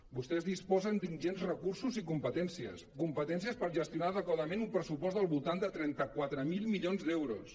vostès disposen d’ingents recursos i competències competències per gestionar ade·quadament un pressupost al voltant de trenta quatre mil milions d’euros